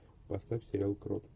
поставь сериал крот